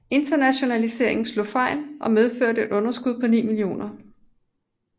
Internationaliseringen slog dog fejl og medførte et underskud på 9 millioner